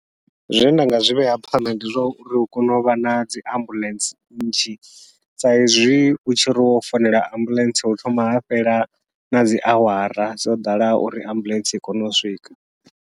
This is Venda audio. Zwine nda nga zwivhea phanḓa ndi zwa uri hu kone uvha nadzi ambuḽentse nnzhi, sa izwi utshi ri wo founela ambuḽentse hu thoma ha fhela nadzi awara dzo ḓalaho uri ambuḽentse i kone u swika.